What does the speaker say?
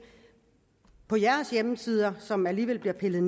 på hjemmesider som alligevel bliver pillet